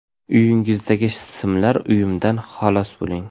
Uyingizdagi simlar uyumidan xalos bo‘ling!